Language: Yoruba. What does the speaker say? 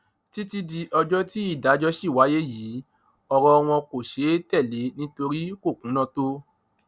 títí di ọjọ tí ìdájọ ṣì wáyé yìí ọrọ wọn kò ṣeé tẹlé nítorí kò kúnná tó